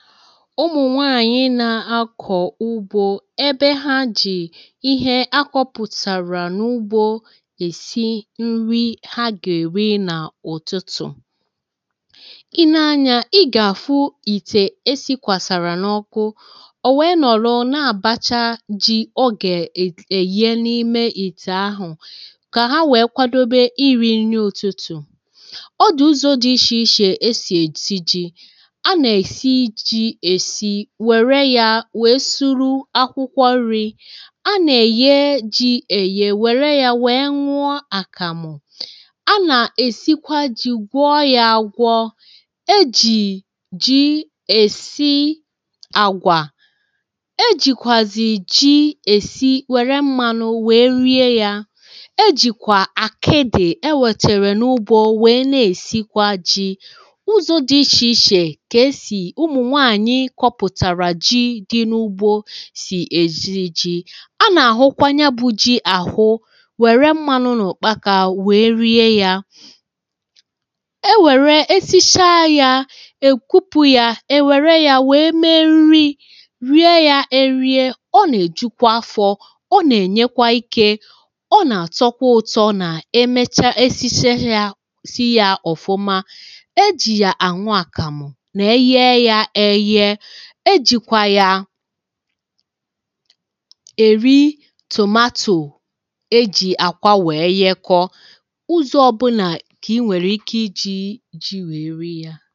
ụmụ̀ nwaanyị na-akọ̀ ugbȯ ebe ha jì ihe akwọpụ̀tàrà n’ugbȯ èsi nri ha gà-èri nà ụ̀tụtụ̀ i nee anyȧ ị gà-àfụ ìtè e sị̇kwàsàrà n’ọkụ ò wèe nọ̀lụ na-àbacha ji ọ gà-èye n’ime ìtè ahụ̀ kà ha wèe kwadobe iri̇ nri ụtụtụ̀ ọ dị̀ ụzọ̇ dị ishi̇ ishi̇ e sì èsi ji̇ wèe soro akwụkwọ nri̇ a nà-èyi ji èyi wère ya wèe nwụọ àkàmụ̀ a nà-èsikwa ji gwụọ ya àgwọ e ji ji èsi àgwà e jìkwàzì ji èsi wère mmȧnụ wèe rie ya e jìkwà àkịdị ewètèrè n’ụbò wèe na-èsikwa ji ụzọ̀ dị ichè ichè di n’ugbȯ sì èzi ji̇ a nà-àhụkwa ya bụ̇ ji àhụ nwèrè mmanụ nà òkpa kà wèe rie yȧ e wère esi̇sha yȧ è kwupu yȧ e wère yȧ wèe mee nri rie yȧ e rie ọ nà-èjukwa afọ̇ ọ nà-ènyekwa ikė ọ nà-àtọkwa ụ̇tọ̇ nà e mecha esiche yȧ si yȧ ọ̀fụma e jì yà ànwụ àkàmụ̀ e jị̀kwa ya èri tòmatò e jì àkwà wèe yẹ kọ̀ ụzọ ọbụnà kà ị nwèrè ike iji̇ ji wèe rie yȧ